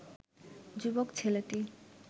যুবক ছেলেটি